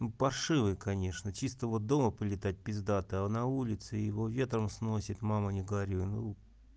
паршивый конечно чистого дома полетать пиздата а на улице его ветром сносит мама не горюй ну